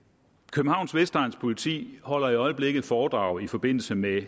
københavns vestegns politi holder i øjeblikket foredrag i forbindelse med